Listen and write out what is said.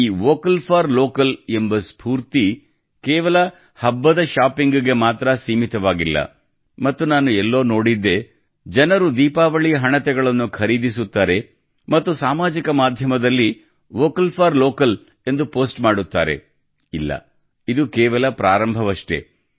ಈ vocal for local ಎಂಬ ಸ್ಪೂರ್ತಿ ಕೇವಲ ಹಬ್ಬದ ಶಾಪಿಂಗ್ಗೆ ಮಾತ್ರ ಸೀಮಿತವಾಗಿಲ್ಲ ಮತ್ತು ನಾನು ಎಲ್ಲೋ ನೋಡಿದ್ದೆ ಜನರು ದೀಪಾವಳಿ ಹಣತೆಗಳನ್ನು ಖರೀದಿಸುತ್ತಾರೆ ಮತ್ತು ಸಾಮಾಜಿಕ ಮಾಧ್ಯಮದಲ್ಲಿ ವೋಕಲ್ ಫಾರ್ ಲೋಕಲ್ ಎಂದು ಪೋಸ್ಟ್ ಮಾಡುತ್ತಾರೆ ಇಲ್ಲ ಇದು ಕೇವಲ ಪ್ರಾರಂಭವಷ್ಟೇ